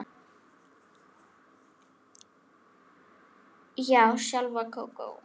Já, sjálf Kókó